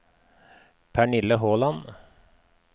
Pernille Håland